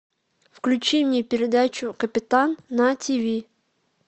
включи мне передачу капитан на тв